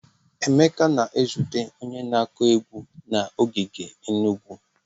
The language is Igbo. Emeka na-ezute onye na-akụ egwu na ogige Enugu.